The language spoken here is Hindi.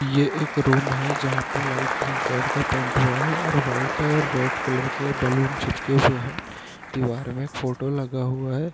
ये एक रूम है जहाँ पे लाईट क्रीम कलर का पेंट हुआ है और वाइट और रेड कलर के बैलून चिपके हुए हैं दीवार मे फोटो लगा हुआ है।